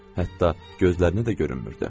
Hətta gözlərinə də görünmürdü.